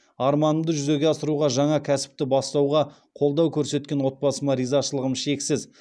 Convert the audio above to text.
арманымды жүзеге асыруға жаңа кәсіпті бастауға қолдау көрсеткен отбасыма ризашылығым шексіз